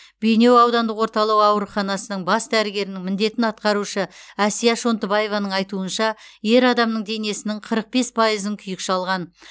бейнеу аудандық орталық ауруханасының бас дәрігерінің міндетін атқарушы әсия шонтыбаеваның айтуынша ер адамның денесінің қырық бес пайызын күйік шалған